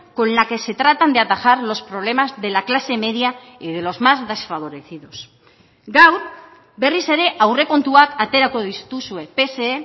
con la que se tratan de atajar los problemas de la clase media y de los más desfavorecidos gaur berriz ere aurrekontuak aterako dituzue pse